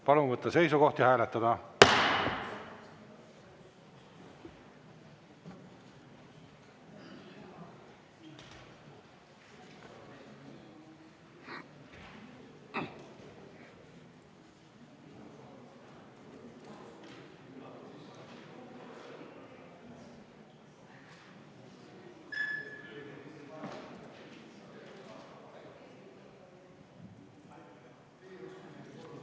Palun võtta seisukoht ja hääletada!